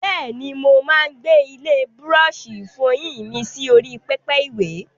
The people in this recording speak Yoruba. Bẹ́ẹ̀ni, mo máa ń gbé ilé búrọ́ọ̀ṣì ìfọyín mi sí orí pẹpẹ ìwè.